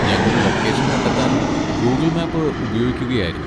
ഞങ്ങൾ ലൊക്കേഷൻ കണ്ടെത്താൻ Google map ഉപയോഗിക്കുകയായിരുന്നു.